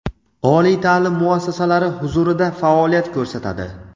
oliy taʼlim muassasalari huzurida faoliyat ko‘rsatadi.